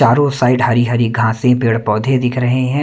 चारों साइड हरी हरी घासें पेड़ पौधे दिख रहे है।